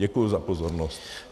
Děkuji za pozornost.